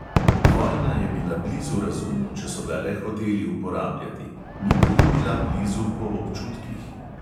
Vojna je bila blizu razumu, če so ga le hoteli uporabljati; ni pa jim bila blizu po občutkih.